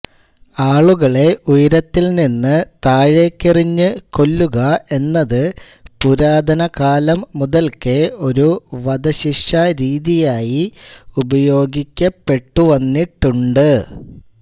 ആളുകളെ ഉയരത്തിൽ നിന്ന് താഴേയ്ക്കെറിഞ്ഞു കൊല്ലുക എന്നത് പുരാതനകാലം മുതൽക്കേ ഒരു വധശിക്ഷാരീതിയായി ഉപയോഗിക്കപ്പെട്ടുവന്നിട്ടുണ്ട്